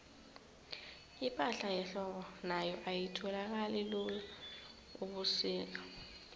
ipahla yehlobo nayo ayitholakali lula ubusika